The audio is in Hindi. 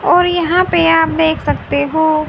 और यहां पे आप देख सकते हो।